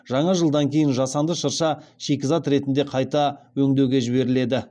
жаңа жылдан кейін жасанды шырша шикізат ретінде қайта өңдеуге жіберіледі